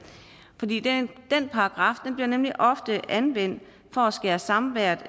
fordi den paragraf bliver nemlig ofte anvendt for at skære samværet